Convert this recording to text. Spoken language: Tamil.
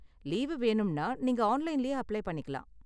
லீவு வேணும்னா, நீங்க ஆன்லைன்லயே அப்ளை பண்ணிக்கலாம்.